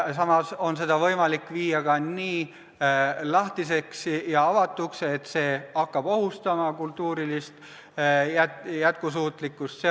Samas on võimalik ajada see ka nii lahtiseks ja avatuks, et see hakkab ohustama kultuurilist jätkusuutlikkust.